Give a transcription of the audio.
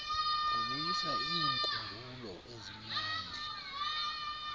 kubuyisa iinkumbulo ezimnandi